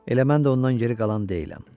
Elə mən də ondan geri qalan deyiləm.